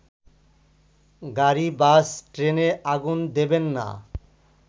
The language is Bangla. গাড়ি-বাস-ট্রেনে আগুন দেবেন না